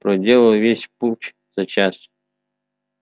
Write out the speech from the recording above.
проделал весь путь за час